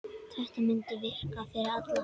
Þetta mundi virka fyrir alla.